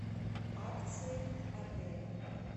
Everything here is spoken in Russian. акции в отеле